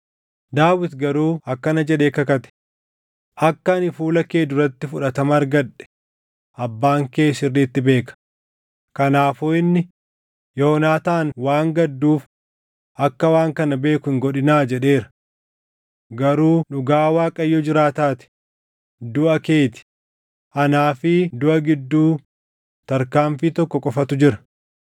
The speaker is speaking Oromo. Daawit garuu akkana jedhee kakate; “Akka ani fuula kee duratti fudhatama argadhe abbaan kee sirriitti beeka; kanaafuu inni, ‘Yoonaataan waan gadduuf akka waan kana beeku hin godhinaa’ jedheera. Garuu dhugaa Waaqayyo jiraataa ti; duʼa kee ti; anaa fi duʼa giddu tarkaanfii tokko qofatu jira.”